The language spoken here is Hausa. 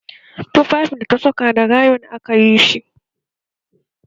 Tufafin da ta saka da rayon akayi shi